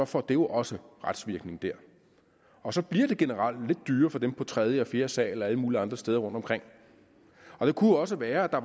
får det jo også retsvirkning der og så bliver det generelt lidt dyrere for dem på tredje og fjerde sal og alle mulige andre steder rundtomkring det kunne også være at der